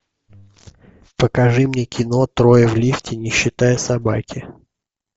покажи мне кино трое в лифте не считая собаки